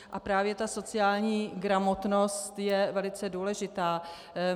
A právě ta sociální gramotnost je velice důležitá.